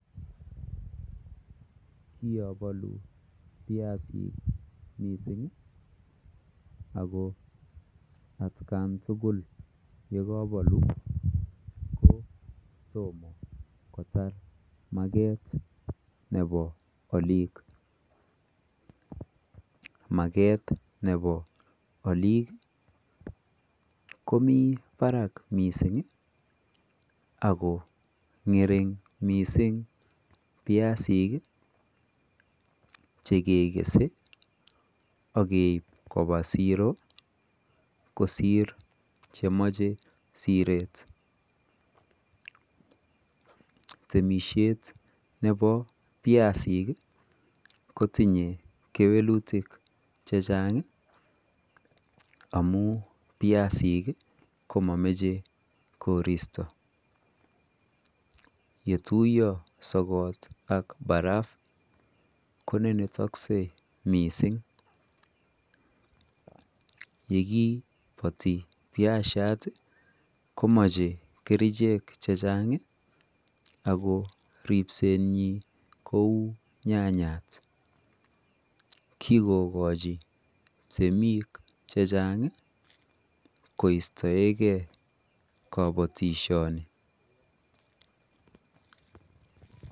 Kiabaluu biasiik ii missing ako at kaan tugul ye kabaluu ko tomah kotaar market nebo aliik mageet nebo aliik komii barak missing ako ngeriing missing biasiik chekekese ake koba siroo kosiir chemachei sireet temisiet nebo biasiik ii ko tinyei kewelutiik che chaang ii amuun biasiik ii komamachei koristo yetuyaa sogoot ak barafuu konenetaksei missing ye kii batii biasiat ii komache kercheek che chaang ako ripset nyiin kouu nyanyaat kikogochii temiik che chaang ii koistaegei kabatisyeet Ani .